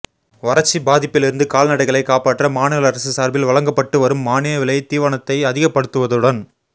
வறட்சி பாதிப்பிலிருந்து கால்நடைகளைக் காப்பாற்ற மாநில அரசு சார்பில் வழங்கப்பட்டு வரும் மானிய விலைத் தீவனத்தை அதிகப்படுத்துவதுடன்